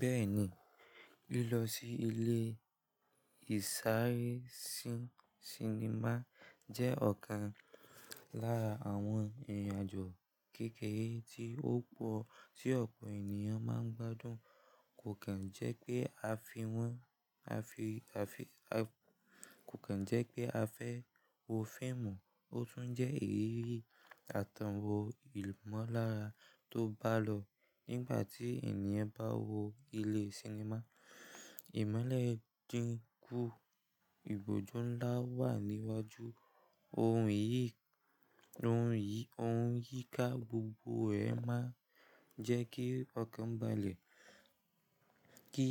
Bẹ́ẹ̀ni, lílọ sí ilé ìsáré sinimá jẹ́ ọ̀kan lára àwọn ìrìnàjò kékeré tí ó pọ̀ tí ọ̀pọ̀ ènìyàn máa ń gbádùn. Kò kàn jẹ́ pé a fẹ́ wo fíìmù, ó tún jẹ́ ìrírí àtànwò ìmọ̀lára tó bá lọ. Nígbà tí ènìyàn bá wọ ilé sinimá, ìmọ́lẹ̀ dínkù, ibojú ńlá wà níwájú oun yii Ohun yìí ká gbogbo ẹ̀ máa ń jẹ́ kí ọkàn balẹ̀, kí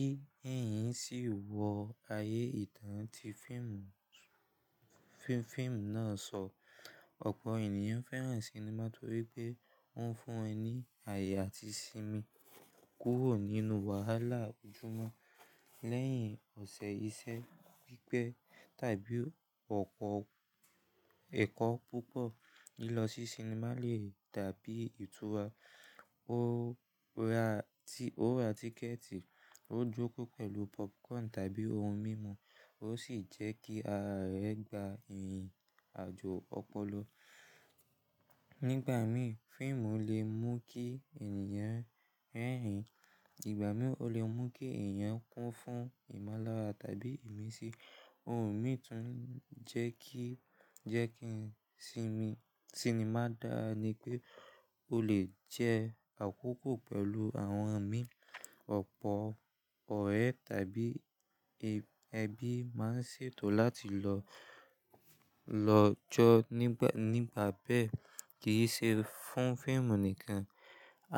ẹ̀yin sì wọ ayé ìtàn tí fíìmù náà sọ. Ọ̀pọ̀ ènìyàn fẹ́ràn sinimá torí pé oun fun wọ́n ńi ààyè àti sinmi kúrò nínú wàhálà ojúmọ́. Lẹ́yìn ọ̀sẹ̀ iṣẹ́ pípẹ́ tàbí ọ̀pọ̀ ẹ̀kọ́ púpọ̀, lílọ sí sinimá lè dàbí ìtura. Ó ra tíkẹ̀ẹ̀tì, ó jókòó pẹ̀lú popcorn tàbí ohun mímu, ó sì jẹ́ kí ará ẹ gba ìrìnàjò ọpọlọ. Nígbà mìí, fíìmù lè mú kí ènìyàn rẹ́rìn. Ìgbà mìíràn ó lè mú kí ènìyàn kún fún ìmọ̀lára tàbí ìmísí. Ohun mìí tí ń jẹ́ kí je ki n simi sinimá dára ni pé ó lè jẹ́ àkókò pẹ̀lú àwọn mi. Ọ̀pọ̀ ọ̀rẹ́ tàbí ẹbí máa ń ṣètò láti lọ jọ nípa bẹ́ẹ̀. Kì í ṣe fún fíìmù nìkan,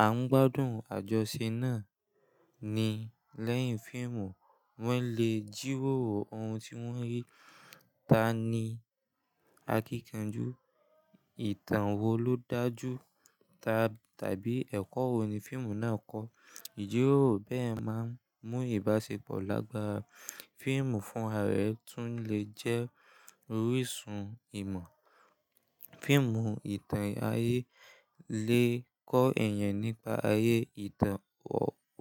à ń gbádùn àjọṣe náà ni. Lẹ́yìn fíìmù, wọ́n lè jíwóòró ohun tí wọ́n rí. Tani akíkanjú? Ìtàn wo ló dájú? Tàbí ẹ̀kọ́ wo ni fíìmù náà kọ́? Jíwóòró bẹ́ẹ̀ máa ń mú ìbáṣepọ̀ lágbára. Fíìmù fún ará rẹ̀ tún lè jẹ́ orísun ìmọ̀. Fíìmù ìtàn ayé lè kọ́ ènìyàn nípa ayé ìtàn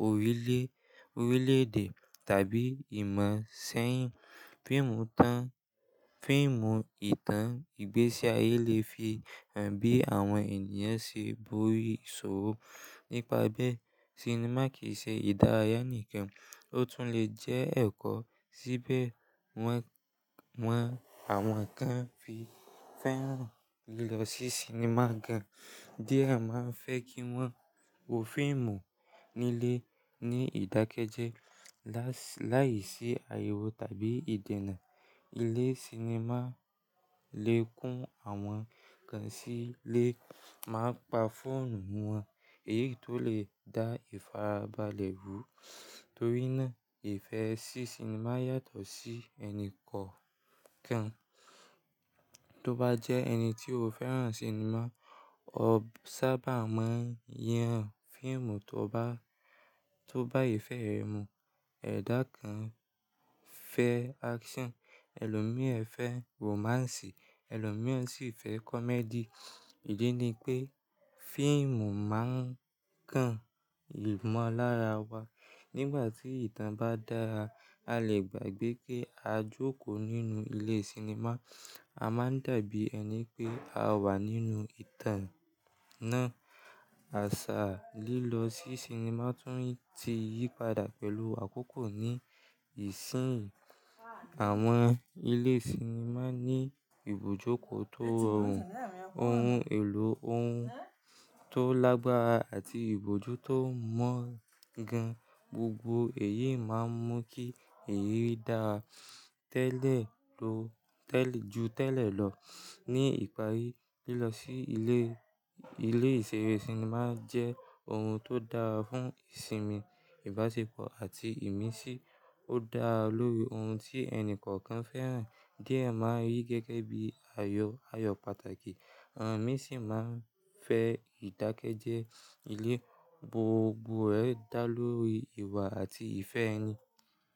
orile orílẹ̀-èdè tàbí ìmọ̀ seyin fiimu tan. Fíìmù ìtàn ìgbésí ayé lè fi ń bí àwọn ènìyàn sí ibori ìṣòro. Nípa bẹ́ẹ̀, sinimá kì í ṣe ìdárayá nìkan, ó tún lè jẹ́ ẹ̀kọ́. Síbẹ̀, won wọ́n àwọn kan fi fẹ́ràn lílọ sí sinimá gan. Díẹ̀ máa ń fẹ́ kí wọ́n wo fíìmù nílé ní ìdákẹ́jẹ́ láìsí ariwo tàbí ìdènà. Ilé sinimá lè kún àwọn kan sílé, máa ń pa fóònù wọn, èyí tó lè dá ìfarabalẹ̀ bú. Torí náà, ìfẹ́ sí sinimá yàtọ̀ sí ẹni kọ̀ọ̀kan. Tó bá jẹ́ ẹni tí ó fẹ́ràn sinimá, o sábà máa ń yàn fíìmù to ba tó bá ìfẹ́ rẹ mu. Ẹ̀dà kan fẹ́ action, ẹlòmíẹ̀ fẹ́ romance, ẹlòmíẹ̀ sì fẹ́ comedy. Ìdí ni pé fíìmù máa ń kàn ìmọ̀lára wa. Nígbà tí ìtàn bá dára, a lè gbàgbé pé a jókòó nínú ilé sinimá, a máa dàbí ẹni pé a wà nínú ìtàn náà. Àṣà lílọ sí sinimá tún ti yípadà pẹ̀lú àkókò ní ìsìn. Àwọn ilé sinimá ní ibojúkò tó rọrùn, ohun èlò ohun tó lágbára àti ibojú tó mọ́ gan. Gbogbo èyí máa ń mú kí èyí dáa tele ju tẹ́lẹ̀ lọ. Ni ìparí, lílọ sí ilé ìṣeré sinimá jẹ́ ohun tó dára fún ìsinmi, ìbáṣepọ̀ àti ìmísí. Ó dára lórí ohun tí ẹni kọ̀ọ̀kan fẹ́ràn. Díẹ̀ máa ń rí gẹ́gẹ́ bí ayo ayọ̀ pàtàkì, àwọn mìí sì máa ń fẹ́ ìdákẹ́jẹ́ ile Gbogbo ẹ̀ dá lórí ìwà àti ìfẹ́ ẹni.